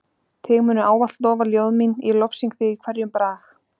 Þig munu ávallt lofa ljóð mín ég lofsyng þig í hverjum brag.